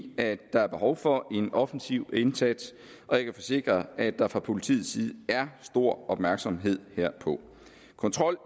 at der er behov for en offensiv indsats og jeg kan forsikre at der fra politiets side er stor opmærksomhed herpå kontrol